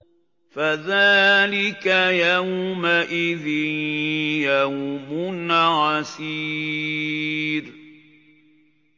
فَذَٰلِكَ يَوْمَئِذٍ يَوْمٌ عَسِيرٌ